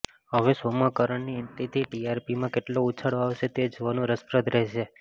હવે શોમાં કરણની એન્ટ્રીથી ટીઆરપીમાં કેટલો ઉછાળો આવશે તે જોવાનું રસપ્રદ રહેશે